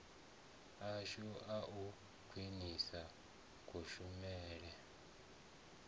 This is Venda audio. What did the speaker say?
ashu a u khwinisa kushumele